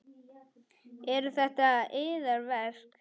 Eru þetta yðar verk?